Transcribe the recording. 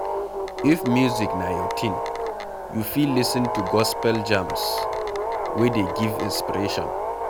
If music na your thing, you fit lis ten to gospel jams wey dey give inspiration